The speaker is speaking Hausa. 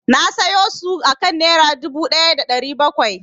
Na sayo su akan Nera dubu ɗaya da ɗari bakwai.